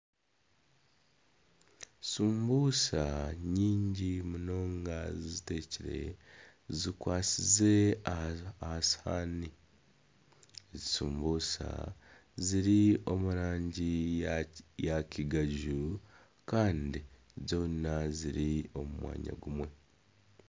Shumbusha nyingi munonga zitekyire zikwasize aha sihani. Ezi shumbusha ziri omu rangi ya kigaju kandi zoona ziri omu mwanya gumwe.